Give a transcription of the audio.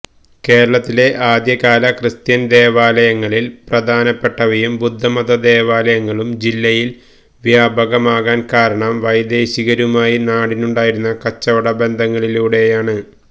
കേരളത്തിലെ ആദ്യകാല ക്രിസ്ത്യൻ ദേവാലയങ്ങളിൽ പ്രധാനപ്പെട്ടവയും ബുദ്ധമത ദേവാലയങ്ങളും ജില്ലയിൽ വ്യാപകമാകുവാൻ കാരണം വൈദേശികരുമായി നാടിനുണ്ടായിരുന്ന കച്ചവട ബന്ധങ്ങളിലൂടെയാണ്